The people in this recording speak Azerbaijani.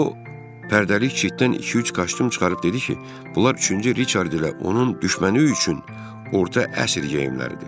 O, pərdəli çitdən iki-üç kostyum çıxarıb dedi ki, bunlar üçüncü Riçard ilə onun düşməni üçün orta əsr geyimləridir.